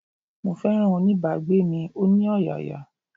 Mo féràn oní bá gbé mi, ó ní ọ̀yàyà.